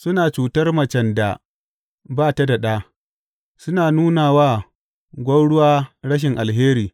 Suna cutar macen da ba ta da ɗa, suna nuna wa gwauruwa rashin alheri.